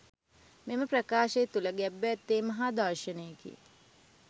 මෙම ප්‍රකාශය තුළ ගැබ්ව ඇත්තේ මහා දර්ශනයකි.